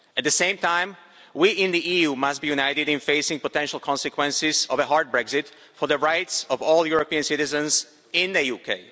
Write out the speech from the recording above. At the same time, we in the EU must be united in facing the potential consequences of a hard Brexit for the rights of all European citizens in the UK.